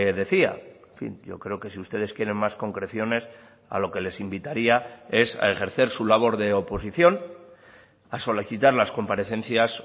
decía en fin yo creo que si ustedes quieren más concreciones a lo que les invitaría es a ejercer su labor de oposición a solicitar las comparecencias